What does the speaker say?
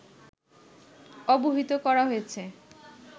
অবহিত করা হয়েছে